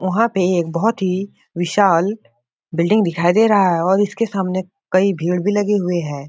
वहाँ पे एक बहुत ही विशाल बिल्डिंग दिखाई दे रहा है और इसके सामने कई भीड़ भी लगे हुए हैं ।